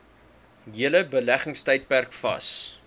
hele beleggingstydperk vas